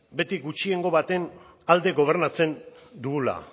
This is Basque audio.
beti gutxiengo baten alde gobernatzen dugula